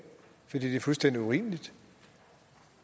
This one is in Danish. fordi det er fuldstændig urimeligt